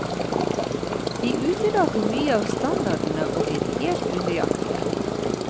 De utelater mye av standardene og er litt unøyaktige.